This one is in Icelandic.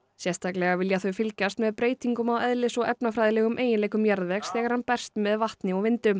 sérstaklega vilja þau fylgjast með breytingum á eðlis og efnafræðilegum eiginleikum jarðvegs þegar hann berst með vatni og vindum